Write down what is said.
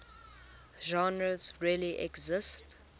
genres really exist